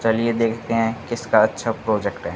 चलिए देखते हैं किसका अच्छा प्रोजेक्ट है।